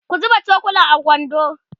ku zuba cokulan a kwando